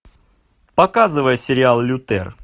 показывай сериал лютер